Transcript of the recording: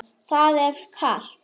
Svona er þetta.